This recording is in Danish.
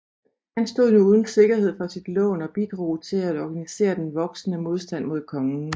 Han stod nu uden sikkerhed for sit lån og bidrog til at organisere den voksende modstand mod kongen